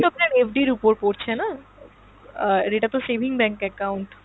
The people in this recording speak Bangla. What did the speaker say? আপনার FDর ওপর পড়ছে না? আহ এটা তো saving bank account.